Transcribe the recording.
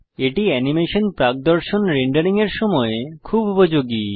এটি অ্যানিমেশন প্রাকদর্শন রেন্ডারিং এর সময় খুব উপযোগী হবে